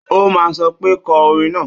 Ó máa sọ pé kọ orin náà!